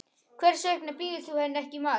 Hvers vegna býður þú henni ekki í mat.